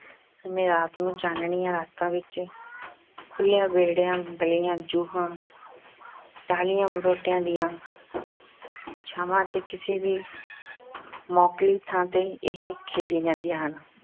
ਸਮੇਂ, ਰਾਤ ਨੂੰ ਚਾਨਣੀਆਂ ਰਾਤਾਂ ਵਿੱਚ, ਖੁੱਲ੍ਹਿਆਂ ਵਿਹੜਿਆਂ, ਗਲੀਆਂ, ਜੂਹਾਂ, ਟਾਹਲੀਆਂ, ਬਰੋਟਿਆਂ ਦੀਆਂ ਛਾਂਵਾਂ ਅਤੇ ਕਿਸੇ ਵੀ ਮੋਕਲੀ ਥਾਂ ਤੇ ਇਹ ਖੇਡੀਆਂ ਜਾਂਦੀਆਂ ਹਨ